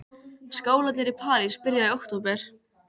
Skólarnir í París byrja í október.